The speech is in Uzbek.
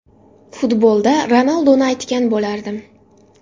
Futbolda Ronaldoni aytgan bo‘lardim.